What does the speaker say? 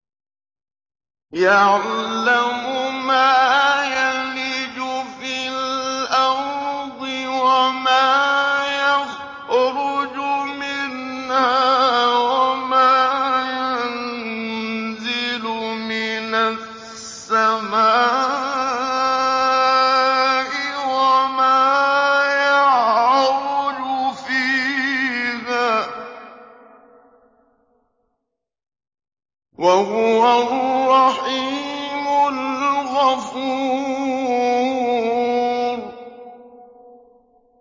يَعْلَمُ مَا يَلِجُ فِي الْأَرْضِ وَمَا يَخْرُجُ مِنْهَا وَمَا يَنزِلُ مِنَ السَّمَاءِ وَمَا يَعْرُجُ فِيهَا ۚ وَهُوَ الرَّحِيمُ الْغَفُورُ